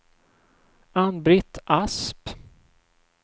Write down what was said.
Ann-Britt Asp